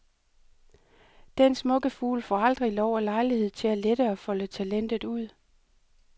Den smukke fugl får aldrig lov og lejlighed til at lette og folde talentet ud.